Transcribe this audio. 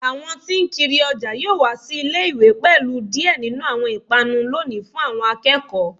Awọn tí n kiri ọjà yoo wa si ile-iwe pẹlu diẹ ninu awọn ipanu loni fun awọn akẹkọ